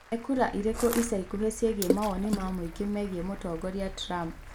Nĩ kura ĩriku ica ikuhĩ ciegiĩ mawoni ma mũingĩ megiĩ Mũtongoria Trump?